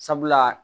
Sabula